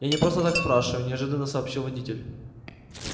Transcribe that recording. я не просто так спрашиваю неожиданно сообщил водитель